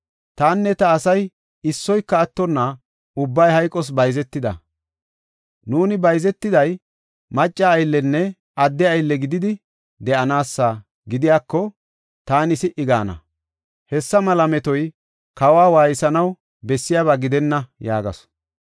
Tanne ta asay issoyka attonna ubbay hayqos bayzetida. Nuuni bayzetiday macca ayllenne adde aylle gididi de7anaasa gidiyako, taani si77i gaana. Hessa mela metoy kawa waaysanaw bessiyaba gidenna” yaagasu.